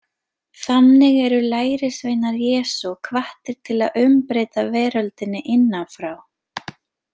Þannig eru lærisveinar Jesú hvattir til að umbreyta veröldinni innan frá.